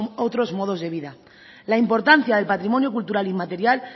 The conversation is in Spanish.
otros modos de vida la importancia del patrimonio cultural inmaterial